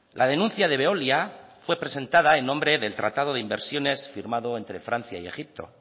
la denuncia de veolia fue presentada en nombre del tratado de inversiones firmado entre francia y egipto